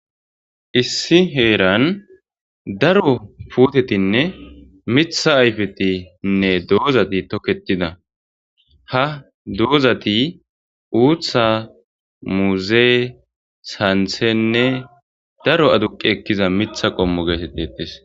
issi heeran daro putetinne mitha ayfetinne doozati toketida ha doozati uutha muuze santhenne daro aduqe ekkiza mitha qommo geetettetes